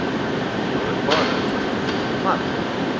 openbare vervoer mark